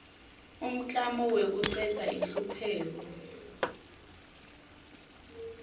umklamo wekucedza inhlupheko